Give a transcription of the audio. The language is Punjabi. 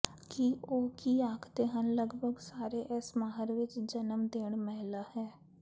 ਕਿ ਉਹ ਕੀ ਆਖਦੇ ਹਨ ਲਗਭਗ ਸਾਰੇ ਇਸ ਮਾਹਰ ਵਿਚ ਜਨਮ ਦੇਣ ਮਹਿਲਾ ਹੈ